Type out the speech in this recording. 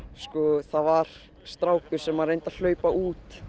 það var strákur sem að reyndi að hlaupa út